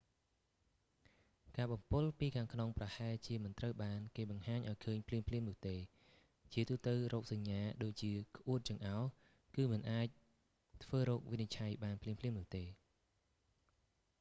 ការបំពុលពីខាងក្នុងប្រហែលជាមិនត្រូវបានគេបង្ហាញឱ្យឃើញភ្លាមៗនោះទេ ជាទូទៅរោគសញ្ញាដូចជាក្អួតចង្អោរគឺមិនអាចធ្វើរោគវិនិច្ឆ័យបានភ្លាមៗនោះទេ